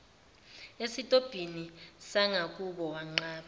esitobhini sangakubo wanqaba